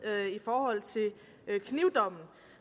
i forhold til knivdommen